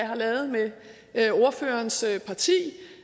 har lavet med ordførerens parti